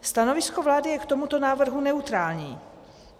Stanovisko vlády je k tomuto návrhu neutrální.